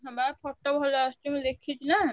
ହଁ ବା photo ଭଲ ଆସୁଛି ମୁଁ ଦେଖିଛି ନା।